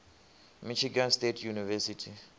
michigan state university